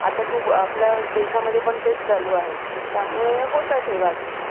आता आपल्या देशामध्ये पण तेच चालू आहे त्यामुळे होतात हे वाद